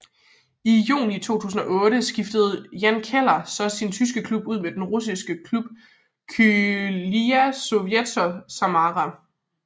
Juni 2008 skiftede Jan Koller så sin tyske klub ud med den russiske klub Krylya Sovetov Samara